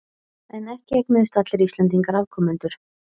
En ekki eignuðust allir Íslendingar afkomendur.